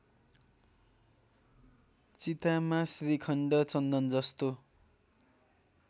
चितामा श्रीखण्ड चन्दनजस्तो